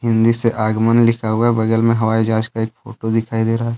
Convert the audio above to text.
हिंदी से आगमन लिखा हुआ है बगल में हवाई जहाज का एक फोटो दिखाई दे रहा है।